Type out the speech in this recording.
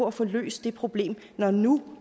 at få løst det problem når nu